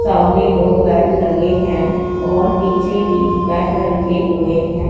सामने दो बेड लगे हैं और पीछे भी बेड रखे हुए हैं।